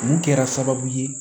Mun kɛra sababu ye